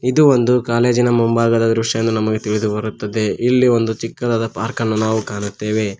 ಇದು ಒಂದು ಕಾಲೇಜಿನ ಮುಂಭಾಗದ ದ್ರಶ್ಯನು ನಮಗೆ ತಿಳಿದು ಬರುತ್ತದ ಇಲ್ಲಿ ಒಂದು ಚಿಕ್ಕದಾದ ಪಾರ್ಕ ನ್ನು ನಾವು ಕಾಣುತ್ತೆವೆ.